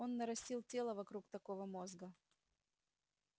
он нарастил тело вокруг такого мозга